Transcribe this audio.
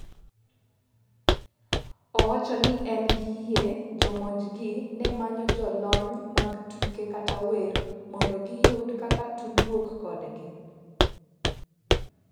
Owacho ni en gi yie jomonjgi ne manyo jolony mag tuke kata wer mondo giyud kaka tudruok kodgi.